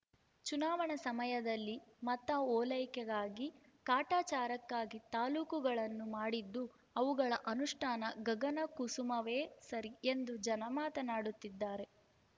ಚುನಾವಣಾ ಸಮಯದಲ್ಲಿ ಮತ ಓಲೈಕೆಗಾಗಿ ಕಾಟಾಚಾರಕ್ಕಾಗಿ ತಾಲೂಕುಗಳನ್ನು ಮಾಡಿದ್ದು ಅವುಗಳ ಅನುಷ್ಠಾನ ಗಗನಕುಸುಮವೇ ಸರಿ ಎಂದು ಜನ ಮಾತನಾಡುತ್ತಿದ್ದಾರೆ